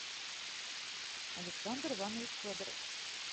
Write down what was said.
александр иванович федоров